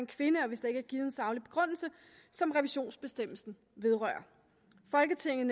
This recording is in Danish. kvinde og hvis der ikke er givet en saglig begrundelse som revisionsbestemmelsen vedrører folketinget